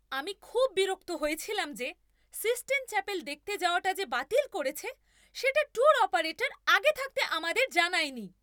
আমি খুব বিরক্ত হয়েছিলাম যে, সিস্টিন চ্যাপেল দেখতে যাওয়াটা যে বাতিল করেছে, সেটা ট্যুর অপারেটর আগে থাকতে আমাদের জানায়নি।